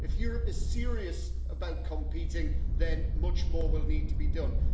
If Europe is serious about competing, much more will need to be done.